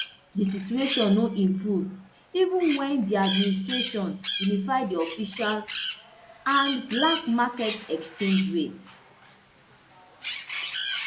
di situation no improve even wen di administration unify di official and black market exchange rates